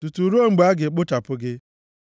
tutu ruo mgbe a ga-ekpochapụ gị.